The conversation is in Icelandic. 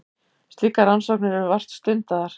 Slíkar rannsóknir eru vart stundaðar.